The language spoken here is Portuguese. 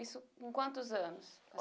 Isso, com quantos anos?